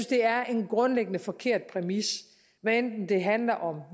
det er en grundlæggende forkert præmis hvad enten det handler om